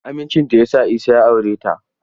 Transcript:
Amincinta ya sa Isa ya aure ta.